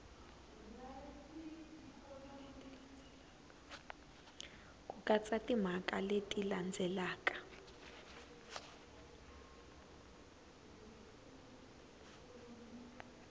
ku katsa timhaka leti landzelaka